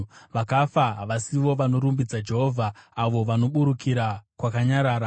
Vakafa havasivo vanorumbidza Jehovha, avo vanoburukira kwakanyarara;